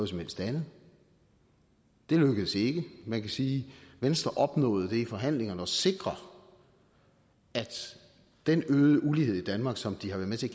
som helst andet det lykkedes ikke man kan sige at venstre opnåede det i forhandlingerne at sikre at den øgede ulighed i danmark som de har været med til